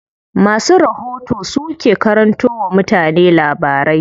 Masu rahoto su ke karanto wa mutane labarai.